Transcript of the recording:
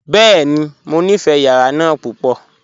Bẹ́ẹ̀ni, mọ nífé yàrà náà púpọ.